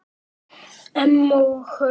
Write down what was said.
Emma og Hörður.